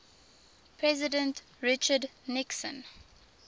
president richard nixon